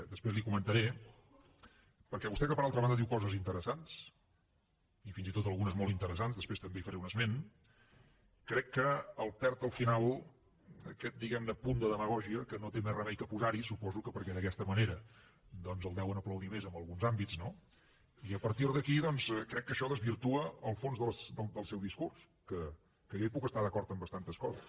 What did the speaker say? després li ho comentaré perquè vostè que per altra banda diu coses interessants i fins i tot algunes de molt interessants després també li’n faré un esment crec que el perd al final aquest diguem ne punt de demagògia que no té més remei que posar hi suposo que perquè d’aquesta manera doncs el deuen aplaudir més en alguns àmbits no i a partir d’aquí crec que això desvirtua el fons del seu discurs que jo hi puc estar d’acord en bastantes coses